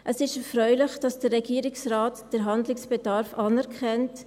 Es ist erfreulich, dass der Regierungsrat den Handlungsbedarf anerkennt.